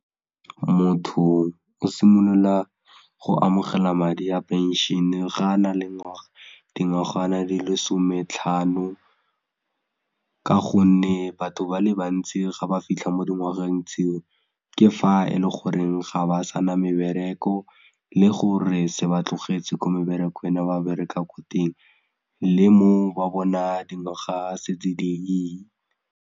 Motho o simolola go amogela madi a phenšhene ga a na le dingwaga di lesome tlhano ka gonne batho ba le bantsi ga ba fitlha mo dingwageng tseo ke fa e le goreng ga ba sana mebereko le gore se ba tlogetse ko meberekong ene ba bereka ko teng le mo ba bona dingwaga setse di ile.